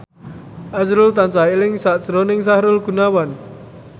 azrul tansah eling sakjroning Sahrul Gunawan